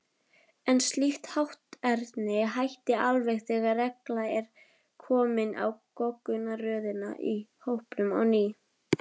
En slíkt hátterni hætti alveg þegar regla er komin á goggunarröðina í hópnum á ný.